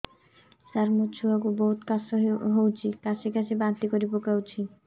ସାର ମୋ ଛୁଆ କୁ ବହୁତ କାଶ ହଉଛି କାସି କାସି ବାନ୍ତି କରି ପକାଉଛି